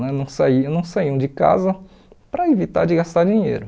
Né não saíam não saíam de casa para evitar de gastar dinheiro.